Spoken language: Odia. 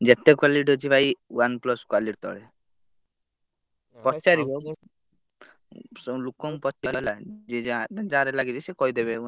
ଯେତେ quality ଅଛି ଭାଇ OnePlus quality ତଳେ ପଚାରିବ ସବୁ ଲୋକଙ୍କୁ ପଚରା ହେଲା ଯିଏ ଯାନ୍ତି ଯାହାର ଲାଗିଛି ସେ କହିଦେବେ।